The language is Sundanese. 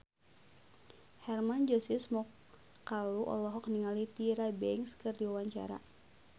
Hermann Josis Mokalu olohok ningali Tyra Banks keur diwawancara